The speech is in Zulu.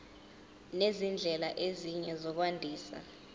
nezindlela ezinye zokwandisa